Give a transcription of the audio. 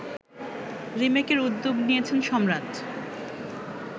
রিমেকের উদ্যোগ নিয়েছেন সম্রাট